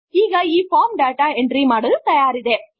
ಈಗ ಈ form data entry ಮಾಡಲು ತಯಾರಿದೆ